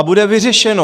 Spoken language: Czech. A bude vyřešeno.